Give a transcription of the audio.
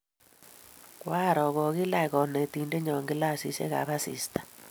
koaroo kokiilach konetindenyo kilasisyekab asista.